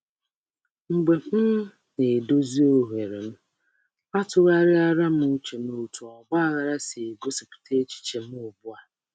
Mgbe m um na-edozi ebe m, m tụgharịrị uche na ka nhịkọ si egosipụta ọnọdụ uche m um ugbu a.